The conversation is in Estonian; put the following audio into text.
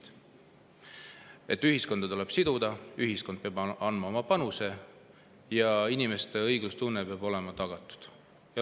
Nad on rääkinud, et ühiskonda tuleb siduda, et ühiskond peab andma oma panuse ja inimeste õiglustunne peab olema tagatud.